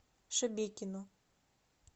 шебекино